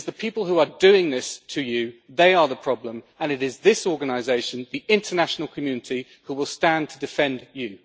It is the people who are doing this to you that are the problem and it is this organisation, the international community, who will stand to defend you.